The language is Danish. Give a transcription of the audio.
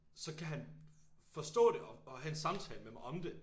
Så kan han forstå det og have en samtale med mig om det